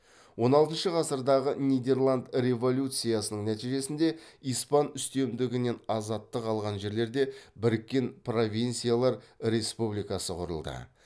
он алтыншы ғасырдағы нидерланд революциясының нәтижесінде испан үстемдігінен азаттық алған жерлерде біріккен провинциялар республикасы құрылды